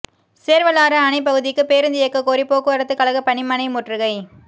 சேர்வலாறு அணைப் பகுதிக்குப் பேருந்து இயக்கக்கோரி போக்குவரத்துக் கழக பணிமனை முற்றுகை